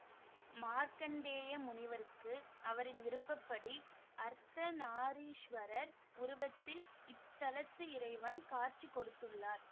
மார்க்கண்டேய முனிவருக்கு அவரின் விருப்ப படி அர்த்தநாரீஸ்வரர் உருவத்தில் இத்தலத்து இறைவன் காட்சி கொடுத்துள்ளார்